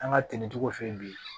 An ka ten cogo f'i ye bi